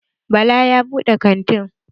Bala ya buɗe kantin.